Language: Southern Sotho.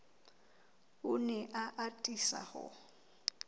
o ne a atisa ho